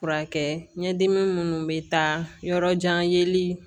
Furakɛ ɲɛdimi minnu bɛ taa yɔrɔ jan yeli